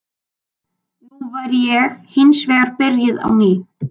Nú væri ég hins vegar byrjuð á ný.